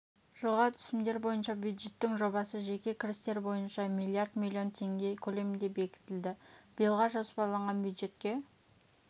жылға түсімдер бойынша бюджеттің жобасы жеке кірістер бойынша миллиард миллион теңге көлемінде бекітілді биылға жоспарланған бюджетке